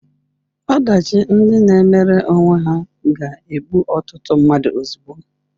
Ọdachi ndị na-emere onwe ha ga-egbu ọtụtụ mmadụ ozugbo.